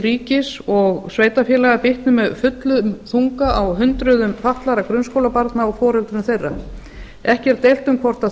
ríkis og sveitarfélaga bitni með fullum þunga á hundruðum fatlaða grunnskólabarna og foreldrum þeirra ekki er deilt um hvort